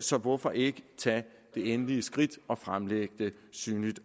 så hvorfor ikke tage det endelige skridt og også fremlægge det synligt